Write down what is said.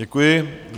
Děkuji.